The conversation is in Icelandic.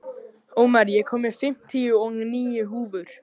Ómar, ég kom með fimmtíu og níu húfur!